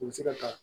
U bɛ se ka